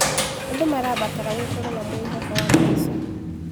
Andũ marabatara gũkorwo na mwĩhoko wa maica.